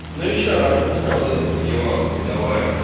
ну и что она вкусная вот это вот елаха медовая